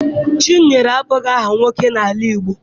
Chinyere abụghị aha nwoke n'ala Igbo.